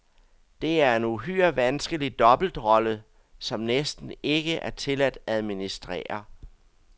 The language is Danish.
Det er en uhyre vanskelig dobbeltrolle, som næsten ikke er til at administrere.